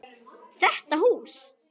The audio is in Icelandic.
Þetta hús?